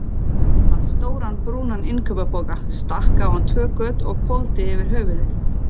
Fann stóran, brúnan innkaupapoka, stakk á hann tvö göt og hvolfdi yfir höfuðið.